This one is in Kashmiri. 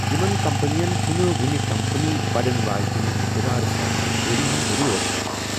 یِمَن کمپنیَن چھَنہٕ وۄنہِ کمپنی بڑن واجِنہِ منز دُبارٕ سرمایہ كٲری ہنز ضروٗرت ،